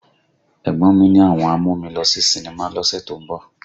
Ẹ̀gbọ́n mí ní àwọn á mú mi lọ sí sinimá lọ́sẹ̀ tó ń bọ̀